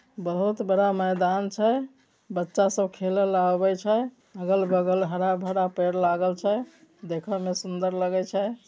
बहुत बड़ा मैदान छे बच्चा सब खेलल आबाल छै अगल -बगल हरा -भरा पेड़ लागल छे देखे में सुन्दर लगै छे।